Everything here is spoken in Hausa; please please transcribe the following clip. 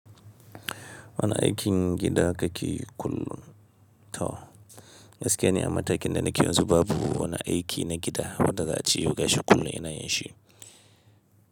Wani aikin gida kake kullum? To, gaskiya ni a matakin da na ke yanzu babu. Wani aiki na gida wanda za'a ce gashi kullum ina yin shi.